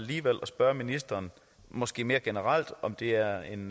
spørge ministeren måske mere generelt om det er en